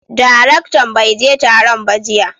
daraktan baije Taron ba jiya.